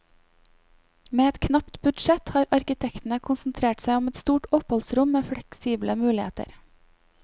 Med et knapt budsjett har arkitektene konsentrert seg om ett stort oppholdsrom med fleksible muligheter.